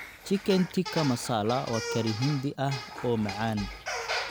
Chicken tikka masala waa curry Hindi ah oo macaan.